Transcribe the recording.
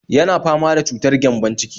Yana fama da cutar gyambon-ciki